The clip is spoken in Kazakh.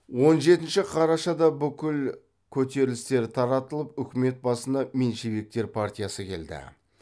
он жетінші қарашада бүкіл көтерлістер таратылып үкімет басына меньшевиктер партиясы келді